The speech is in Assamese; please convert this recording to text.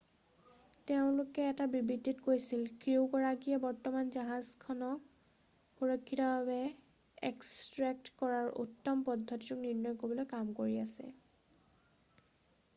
"তেওঁলোকেও এটা বিবৃতিত কৈছিল "ক্ৰিউগৰাকীয়ে বৰ্তমান জাহাজখনক সুৰক্ষিতভাৱে এক্সট্ৰেক্ট কৰাৰ উত্তম পদ্ধতিটোক নিৰ্ণয় কৰিবলৈ কাম কৰি আছে৷""